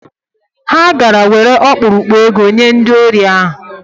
Ha gara were ọkpụrụkpụ ego nye ndị ori ahụ.